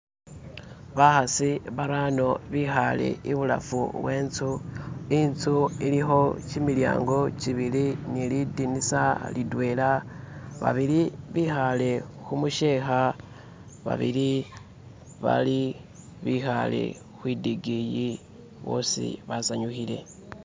bahasi barano bihale ibulafu wentzu intsu iliho kyimilyango kyibili ni nilidinisa litwela babili bihale humusheha babili bihale hwidigiyi bosi basanyuhile